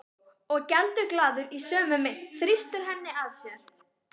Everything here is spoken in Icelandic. Og geldur glaður í sömu mynt, þrýstir henni að sér.